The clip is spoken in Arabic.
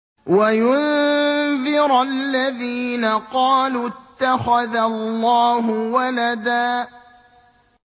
وَيُنذِرَ الَّذِينَ قَالُوا اتَّخَذَ اللَّهُ وَلَدًا